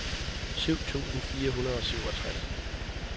syv tusind fire hundrede og syvogtres